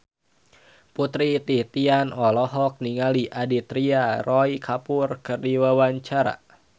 Putri Titian olohok ningali Aditya Roy Kapoor keur diwawancara